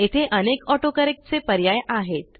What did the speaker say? येथे अनेक AutoCorrectचे पर्याय आहेत